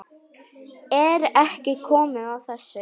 Er ekki komið að þessu?